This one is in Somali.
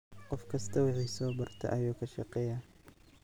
Qof kistaa wixi sobarta ayuu kashegeya.